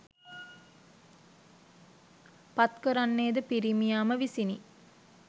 පත්කරන්නේ ද පිරිමියා ම විසිනි.